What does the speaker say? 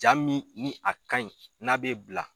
Jaa min ni a ka ɲi n'a bɛ bila